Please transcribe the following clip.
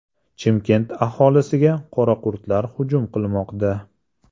Chimkent aholisiga qoraqurtlar hujum qilmoqda.